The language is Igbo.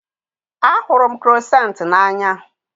A hụrụ m kroissant n'anya